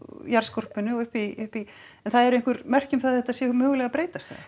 jarðskorpunni og upp í en það eru einhver merki um það að þetta sé mögulega að breytast